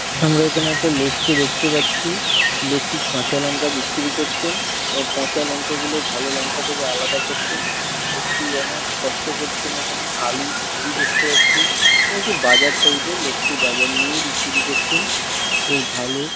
আমরা এখানে একটা লোককে দেখতে পাচ্ছি লোকটি কাঁচা লঙ্কা বিক্রি করছেন এবং পচা লঙ্কা গুলো ভালো লঙ্কা থেকে আলাদা করছেন লোকটি অনেক কষ্ট করছেন এখানে আলুর ঝুড়ি দেখতে পাচ্ছি একটি বাজার টাইপ এর লোকটি বাজার নিয়েই বিক্রি করছেন। বে ভালো।